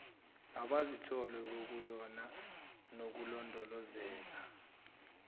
abazithola bekuyona nokulondolozeka